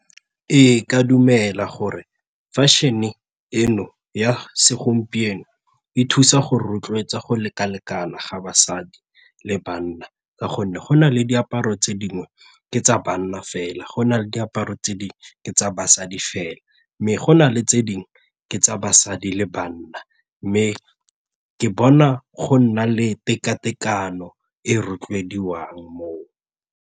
Ee, ke a dumela gore fashion-e eno ya segompieno e thusa go rotloetsa go leka-lekana ga basadi le banna ka gonne go na le diaparo tse dingwe ke tsa banna fela, go na le diaparo tsa basadi fela mme go na le tse dingwe ke tsa basadi le banna mme ke bona go nna le teka-tekano e rotloediwang moo.